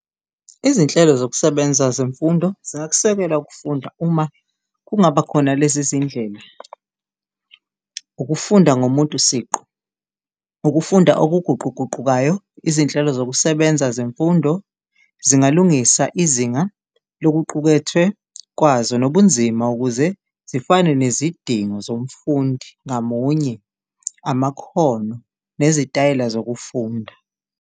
Izinhlelo zokusebenza zemfundo ziyakusekela ukufunda, uma kungaba khona lezi zindlela ukufunda ngomuntu siqu, ukufunda okuguquguqukayo, izinhlelo zokusebenza zemfundo zingalungisa ofuna izinga lokuqukethwe kwazo nobunzima ukuze zifane nezidingo zomfundi ngamunye, amakhono nezitayela zokufunda.